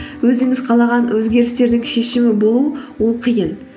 өзіңіз қалаған өзгерістердің шешімі болу ол қиын